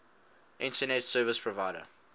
internet service provider